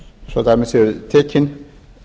svo dæmi séu tekin